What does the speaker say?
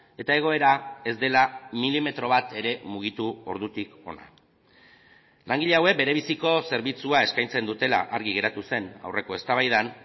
eta egoera ez dela milimetro bat ere mugitu ordutik ona langile hauek bere biziko zerbitzua eskaintzen dutela argi geratu zen aurreko eztabaidan